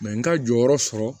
n ka jɔyɔrɔ sɔrɔ